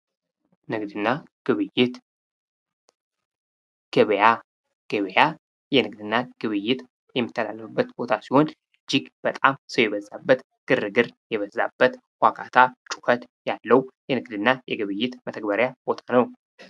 ንግድ እና ግብይት፦ ገበያ ፦ ገበያ የንግድ እና ግብይት የሚካሄድበት ቦታ ሲሆን እጅግ በጣም ሰው የበዛበት ግርግር የበዛበት ዋካታ ጩሀት ያለው የንግድ እና ግብይት መተግበሪያ ቦታ ነው።